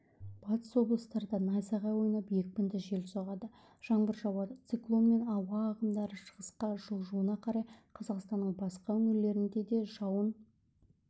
батыс облыстарда найзағай ойнап екпінді жел соғады жаңбыр жауады циклон мен ауа ағымдары шығысқа жылжуына қарай қазақстанның басқа өңірлерінде де жауын